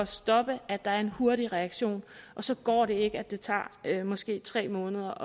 stoppe at der er en hurtig reaktion og så går det ikke at det tager måske tre måneder